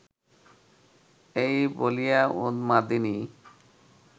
এই বলিয়া উন্মাদিনী